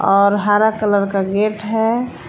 और हरा कलर का गेट है।